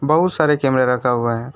बहुत सारे कैमरा रखा हुआ है।